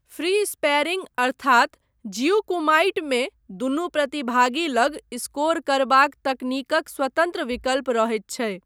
Free sparring अर्थात जियु कुमाइटमे, दुनू प्रतिभागी लग स्कोर करबाक तकनीकक स्वतन्त्र विकल्प रहैत छै।